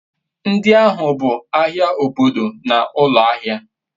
ndi ahu bu ahia obodo na ulo ahia